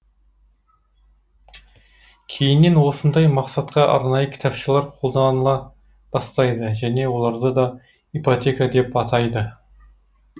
кейіннен осындай мақсатқа арнайы кітапшалар қолданыла бастайды және оларды да ипотека деп атайды